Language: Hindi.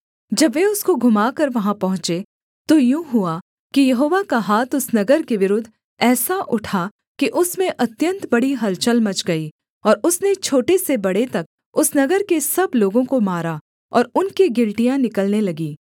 जब वे उसको घुमाकर वहाँ पहुँचे तो यूँ हुआ कि यहोवा का हाथ उस नगर के विरुद्ध ऐसा उठा कि उसमें अत्यन्त बड़ी हलचल मच गई और उसने छोटे से बड़े तक उस नगर के सब लोगों को मारा और उनके गिलटियाँ निकलने लगीं